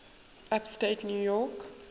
upstate new york